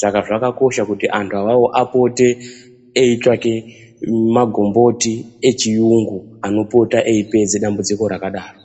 Saka zvakakosha kuti antu awawo apote eitsvake magomboti echiyungu anopota eipedze dambudziko rakadaro.